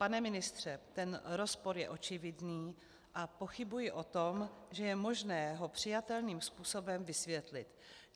Pane ministře, ten rozpor je očividný a pochybuji o tom, že je možné ho přijatelným způsobem vysvětlit.